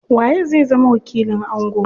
Waye zai zama wakilin ango?